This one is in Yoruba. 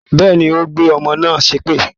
Bẹ́ẹ̀ni, ó gbé ọmọ náà ṣépè